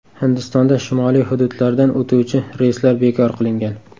Hindistonda shimoliy hududlardan o‘tuvchi reyslar bekor qilingan.